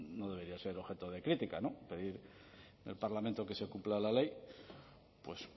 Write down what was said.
nodebería ser objeto de crítica no pedir en el parlamento que se cumpla la ley pues